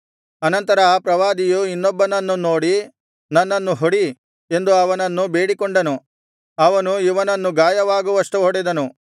ಅನಂತರ ಆ ಪ್ರವಾದಿಯು ಇನ್ನೊಬ್ಬನನ್ನು ನೋಡಿ ನನ್ನನ್ನು ಹೊಡಿ ಎಂದು ಅವನನ್ನು ಬೇಡಿಕೊಂಡನು ಅವನು ಇವನನ್ನು ಗಾಯವಾಗುವಷ್ಟು ಹೊಡೆದನು